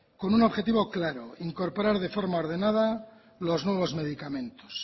con un objetivo claro incorporar de forma ordenada los nuevos medicamentos